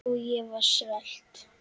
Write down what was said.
Og ég var svelt.